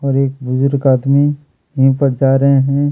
और बुजुर्ग कहीं पर जा रहे है।